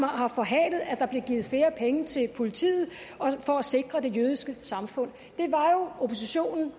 har forhalet at der blev givet flere penge til politiet for at sikre det jødiske samfund det var jo oppositionen